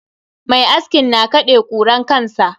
Mai askin na kaɗe kuran kansa.